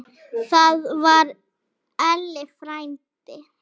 Þannig var Elli frændi.